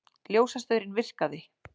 Ljósastaurinn virkaði